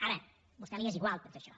ara a vostè li és igual tot això